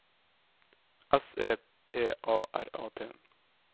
S E P A R A T